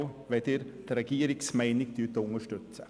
Danke, wenn Sie die Regierungsmeinung unterstützen.